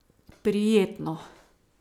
Prijetno.